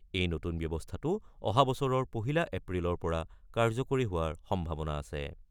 এই নতুন ব্যৱস্থাটো অহাবছৰৰ পহিলা এপ্ৰিলৰ পৰা কাৰ্যকৰী হোৱাৰ সম্ভাৱনা আছে।